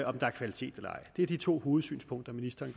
om der er kvalitet eller ej det er de to hovedsynspunkter ministeren